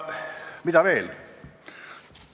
Mida veel?